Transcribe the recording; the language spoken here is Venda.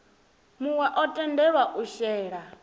muwe o tendelwa u shela